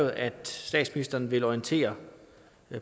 at statsministeren vil orientere